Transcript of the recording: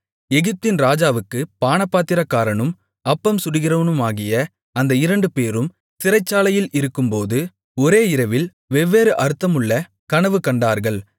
எகிப்தின் ராஜாவுக்குப் பானபாத்திரக்காரனும் அப்பம் சுடுகிறவனுமாகிய அந்த இரண்டுபேரும் சிறைச்சாலையில் இருக்கும்போது ஒரே இரவில் வெவ்வேறு அர்த்தமுள்ள கனவு கண்டார்கள்